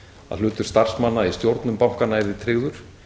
að hlutur starfsmanna í stjórnum bankanna yrði tryggður